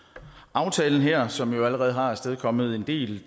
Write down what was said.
aftalen her som jo allerede har afstedkommet en del